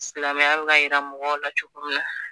Silamɛya ka bɛ ka yira mɔgɔw la cogo min na